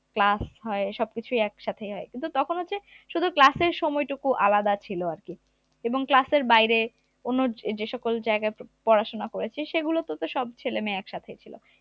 class হয় সবকিছুই একসাথে হয় কিন্তু তখন হচ্ছে শুধু class এর সময় টুকু আলাদা ছিল আর কি এবং calss এর বাইরে কোন যে সকল জায়গায় প~পড়াশোনা করেছি সেগুলোতে তো সব ছেলেমেয়ে একসাথেই ছিল